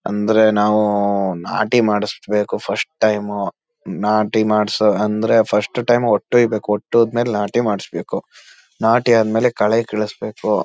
ಅಂದ್ರೆ ನಾವು ನಾಟಿ ಮಾಡಸ್ಬೇಕು ಫರ್ಸ್ಟ್ ಟೈಮ್ ನಾಟಿ ಮಾಡ್ಸು ಅಂದ್ರೆ ಫರ್ಸ್ಟ್ ಟೈಮ್ ಒಟ್ಟು ಇದಕ್ಕೆ ಒಟ್ಟು ಆದ್ಮೇಲೆ ನಾಟಿ ಮಾಡಸ್ಬೇಕು ನಾಟಿ ಅದ್ಮೇಲೆ ಕಳೆ ಕೀಳಸ್ಬೇಕು.